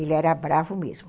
Ele era bravo mesmo.